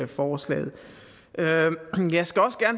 forslaget jeg skal også